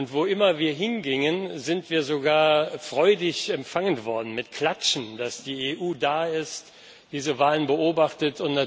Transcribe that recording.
Wo immer wir hingingen, sind wir sogar freudig empfangen worden, mit Klatschen, dass die EU da ist und diese Wahl beobachtet.